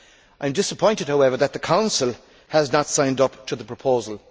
I am disappointed, however, that the Council has not signed up to the proposal.